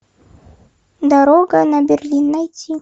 дорога на берлин найти